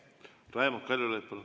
Raimond Kaljulaid, palun!